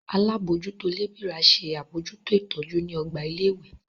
Alábòójútó lébìrà ṣe àbójútó ìtọ́jú ní ọgbà ilé ìwé